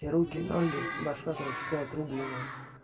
руки ноги башка короче всё отрубленное